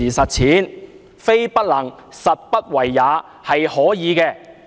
其實，非不能，實不為也，是可以做到的。